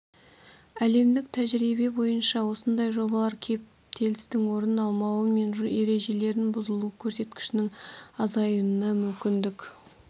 әлемдік тәжірибе бойынша осындай жобалар кептелістің орын алмауы мен жол ережелерінің бұзылу көрсеткішінің азаюына мүмкіндік